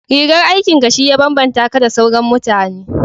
rigar aikin ka shi ya babbanta ka da sauran mutane